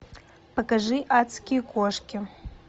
покажи адские кошки